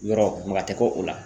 Yɔrɔ maga tɛ kɛ o la.